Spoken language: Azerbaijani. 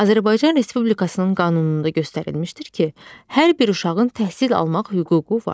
Azərbaycan Respublikasının qanununda göstərilmişdir ki, hər bir uşağın təhsil almaq hüququ var.